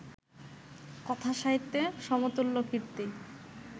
কথাসাহিত্যে সমতুল্য কীর্তি